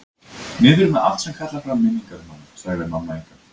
Niður með allt sem kallar fram minningar um hana, sagði mamma ykkar.